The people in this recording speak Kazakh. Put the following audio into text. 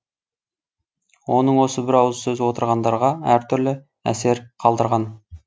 оның осы бір ауыз сөзі отырғандарға әртүрлі әсер қалдырған